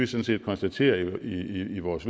set konstaterer i vores